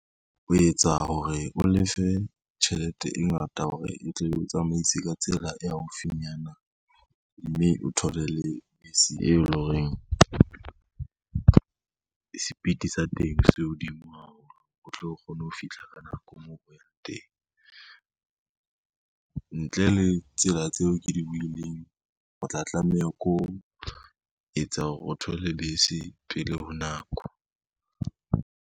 O etsa hore o lefe tjhelete e ngata hore e tle o tsamaise ka tsela e haufinyana, mme o thole le bese e leng horeng sepiti sa teng se hodimo haholo o tlo kgone ho fihla ka nako moo o yang teng. Ntle le tsela tseo ke di buileng, o tla tlameha ko ho etsa hore o thole bese pele ho nako.